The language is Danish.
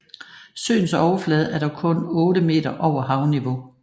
Søens overflade er dog kun 8 meter over havniveau